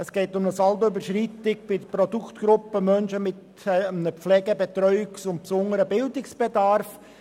Es geht um eine Saldoüberschreitung bei der Produktgruppe Menschen mit einem Pflege-, Betreuungs- und besonderen Bildungsbedarf.